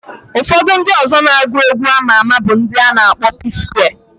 Ufodu ndi ọzọ so na ndi na agu egwu ama ama bu ndi ana akpo Psquare.